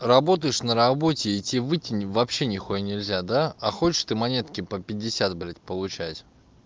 работаешь на работе и тебе выйти вообще не хуя нельзя да а хочешь ты монетки по пятьдесят блядь получать